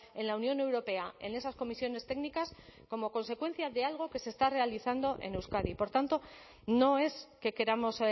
en la unión europea en esas comisiones técnicas como consecuencia de algo que se está realizando en euskadi por tanto no es que queramos